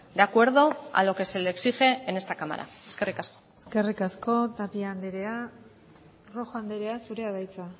de acuerdo a lo que se le exige en esta cámara eskerrik asko eskerrik asko tapia andrea rojo andrea zurea da hitza